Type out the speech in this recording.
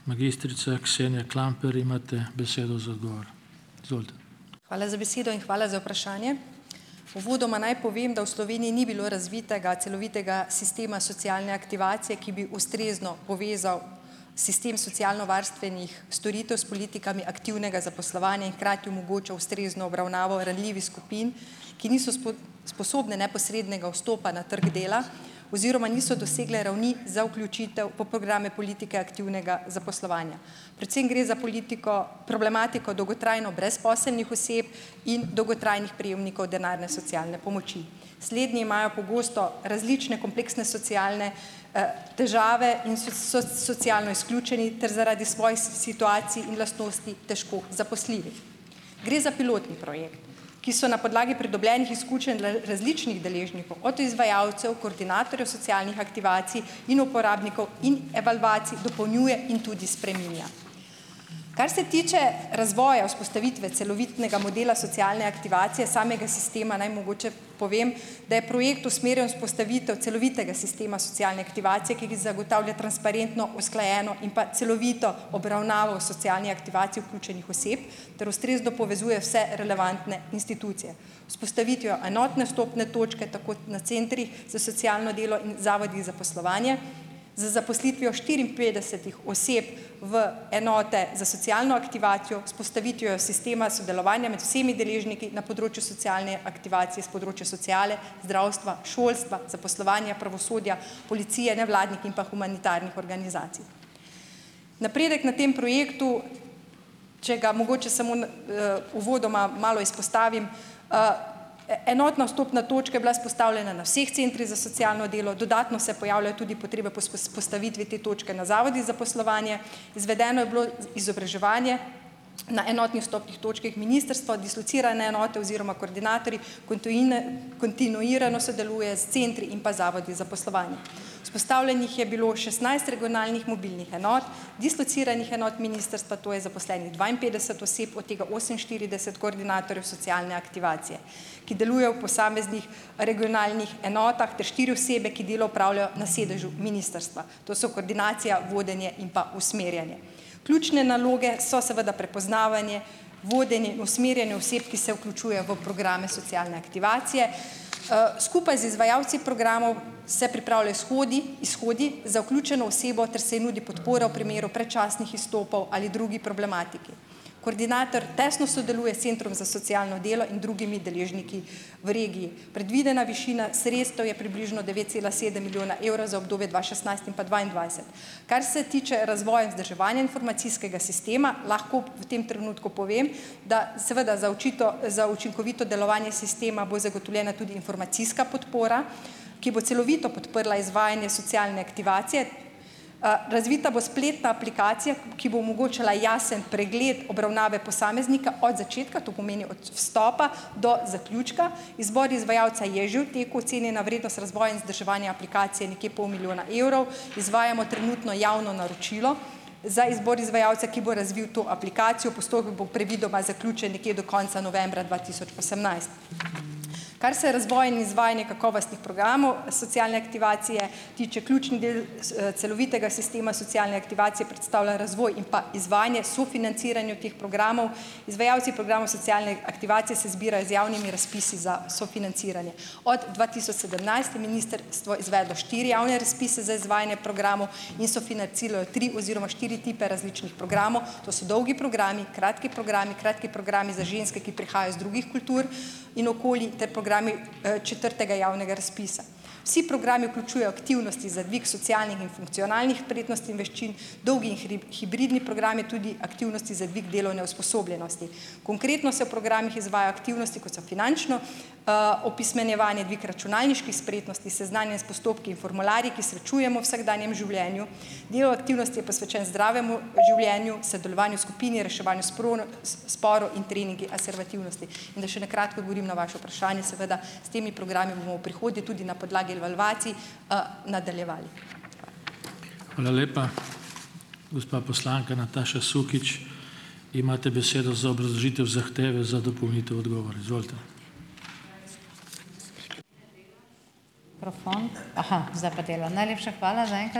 Hvala za besedo in hvala za vprašanje. Uvodoma naj povem, da v Sloveniji ni bilo razvitega celovitega sistema socialne aktivacije, ki bi ustrezno povezal sistem socialnovarstvenih storitev s politikami aktivnega zaposlovanja in hkrati omogočal ustrezno obravnavo ranljivih skupin, ki niso sposobne neposrednega vstopa na trg dela oziroma niso dosegle ravni za vključitev v programe politike aktivnega zaposlovanja. Predvsem gre za politiko, problematiko dolgotrajno brezposelnih oseb in dolgotrajnih prejemnikov denarne socialne pomoči. Slednji imajo pogosto različne kompleksne socialne težave in so socialno izključeni ter zaradi svojih situacij in lastnosti težko zaposljivi. Gre za pilotni projekt, ki so na podlagi pridobljenih izkušenj različnih deležnikov, od izvajalcev, koordinatorjev socialnih aktivacij in uporabnikov in evalvacij, dopolnjuje in tudi spreminja. Kar se tiče razvoja vzpostavitve celovitega modela socialne aktivacije samega sistema, naj mogoče povem, da je projekt usmerjen vzpostavitev celovitega sistema socialne aktivacije, ki zagotavlja transparentno, usklajeno in pa celovito obravnavo v socialni aktivaciji vključenih oseb ter ustrezno povezuje vse relevantne institucije. Vzpostavitvijo enotne vstopne točke tako na centrih za socialno delo in zavodih zaposlovanje, z zaposlitvijo štiriinpetdesetih oseb v enote za socialno aktivacijo, vzpostavitvijo sistema sodelovanja med vsemi deležniki na področju socialne aktivacije s področja sociale, zdravstva, šolstva, zaposlovanja, pravosodja, policije, nevladnih in pa humanitarnih organizacij. Napredek na tem projektu, če ga mogoče samo n uvodoma malo izpostavim, enotna vstopna točka je bila vzpostavljena na vseh centrih za socialno delo. Dodatno se pojavljajo tudi potrebe po vzpostavitvi te točke na zavodih zaposlovanje, izvedeno je bilo izobraževanje na enotnih vstopnih točkah, ministrstvo, dislocirane enote oziroma koordinatorji kontinuirano sodeluje s centri in pa zavodi zaposlovanje. Vzpostavljenih je bilo šestnajst regionalnih mobilnih enot, dislociranih enot ministrstva, to je zaposlenih dvainpetdeset oseb, od tega oseminštirideset koordinatorjev socialne aktivacije, ki delujejo v posameznih regionalnih enotah, ter štiri osebe, ki delo opravljajo na sedežu ministrstva. To so koordinacija, vodenje in pa usmerjanje. Ključne naloge so seveda prepoznavanje, vodenje, usmerjanje oseb, ki se vključuje v programe socialne aktivacije. Skupaj z izvajalci programov se pripravljajo shodi izhodi za vključeno osebo ter se ji nudi podpora primeru predčasnih izstopov ali drugi problematiki. Koordinator tesno sodeluje s centrom za socialno delo in drugimi deležniki v regiji. Predvidena višina sredstev je približno devet cela sedem milijona evra za obdobje dva šestnajst in pa dvaindvajset. Kar se tiče razvoja in vzdrževanja informacijskega sistema, lahko v tem trenutku povem, da seveda za za učinkovito delovanje sistema bo zagotovljena tudi informacijska podpora, ki bo celovito podprla izvajanje socialne aktivacije. Razvita bo spletna aplikacija, ki bo omogočala jasen pregled obravnave posameznika od začetka, to pomeni od vstopa do zaključka. Izbor izvajalca je že v teku, ocenjena vrednost razvoja in vzdrževanja aplikacije nekje pol milijona evrov, izvajamo trenutno javno naročilo za izbor izvajalca, ki bo razvil to aplikacijo. Postopek bo predvidoma zaključen nekje do konca novembra dva tisoč osemnajst. Kar se razvoja in izvajanja kakovostnih programov socialne aktivacije tiče, ključni del celovitega sistema socialne aktivacije predstavlja razvoj in pa izvajanje sofinanciranje teh programov. Izvajalci programov socialne aktivacije se zbirajo z javnimi razpisi za sofinanciranje. Od dva tisoč sedemnajst je ministrstvo izvedlo štiri javne razpise za izvajanje programov in sofinanciralo tri oziroma štiri tipe različnih programov. To so dolgi programi, kratki programi, kratki programi za ženske, ki prihajajo iz drugih kultur in okolij ter programi četrtega javnega razpisa. Vsi programi vključujejo aktivnosti za dvig socialnih in funkcionalnih spretnosti in veščin, dolgi in hibridni programi, tudi aktivnosti za dvig delovne usposobljenosti. Konkretno se programih izvaja aktivnosti, kot so finančno opismenjevanje, dvig računalniških spretnosti, seznanjanje s postopki in formularji, ki srečujemo vsakdanjem življenju. del aktivnosti je posvečen zdravemu življenju , sodelovanju skupini, reševanju sporov in treningi asertivnosti. In da še na kratko odgovorim na vaše vprašanje, seveda, s temi programi bomo v prihodnje tudi na podlagi evalvacij nadaljevali.